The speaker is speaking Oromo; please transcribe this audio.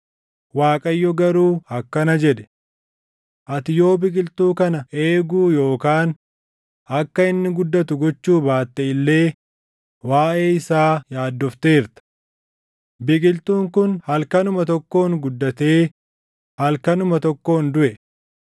Waaqayyo garuu akkana jedhe; “Ati yoo biqiltuu kana eeguu yookaan akka inni guddatu gochuu baatte illee waaʼee isaa yaaddofteerta. Biqiltuun kun halkanuma tokkoon guddatee halkanuma tokkoon duʼe.